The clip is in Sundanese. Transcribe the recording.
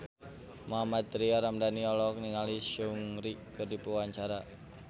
Mohammad Tria Ramadhani olohok ningali Seungri keur diwawancara